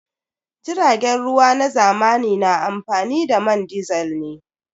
Jiragen ruwa na zamani na amfani da man disil ne.